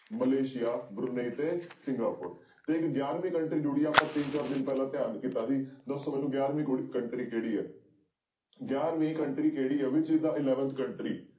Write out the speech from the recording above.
Malaysia ਤੇ Singapore ਤੇ ਇੱਕ ਗਿਆਰਵੀਂ country ਜੁੜੀ ਹੈ ਆਪਾਂ ਤਿੰਨ ਚਾਰ ਦਿਨ ਪਹਿਲਾਂ ਧਿਆਨ ਕੀਤਾ ਸੀ ਦੱਸੋ ਮੈਨੂੰ ਗਿਆਰਵੀਂ ਕੁੜ country ਕਿਹੜੀ ਹੈ ਗਿਆਰਵੀਂ country ਕਿਹੜੀ ਹੈ which is the eleventh country